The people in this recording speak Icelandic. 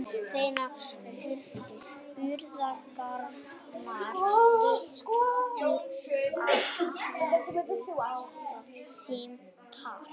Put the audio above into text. Seinni hluti spurningarinnar lýtur að því hvort útvarpa megi símtali.